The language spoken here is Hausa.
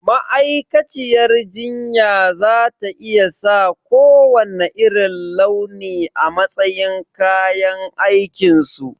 Ma'aikaciyar jinya za ta iya sa kowanne irin launi a matsayin kayan aikinsu?